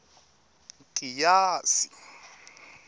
nkiyasi